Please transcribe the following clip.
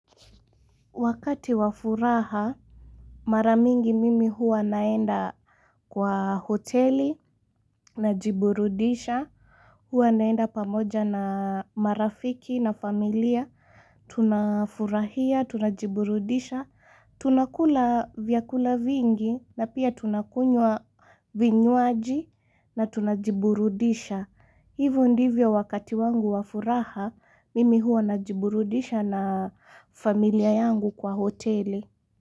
Wakati wa furaha, mara mingi mimi huwa naenda kwa hoteli, najiburudisha, huwa naenda pamoja na marafiki na familia, tunafurahia, tunajiburudisha, tunakula vyakula vingi na pia tunakunywa vinywaji na tunajiburudisha. Hivo ndivyo wakati wangu wa furaha, mimi huwa najiburudisha na familia yangu kwa hoteli.